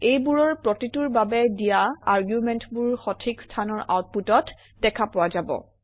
এইবোৰৰ প্ৰতিটোৰ বাবে দিয়া আৰ্গুমেণ্টবোৰ সঠিক স্থানৰ আউটপুটত দেখা পোৱা যাব